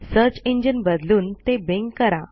search engine बदलून ते Bing करा